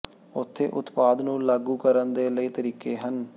ਉੱਥੇ ਉਤਪਾਦ ਨੂੰ ਲਾਗੂ ਕਰਨ ਦੇ ਕਈ ਤਰੀਕੇ ਹਨ